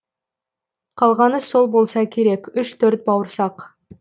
қалғаны сол болса керек үш төрт бауырсақ